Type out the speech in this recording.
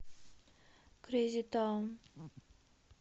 крейзи таун